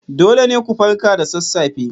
Dole ne ku farka da sassafe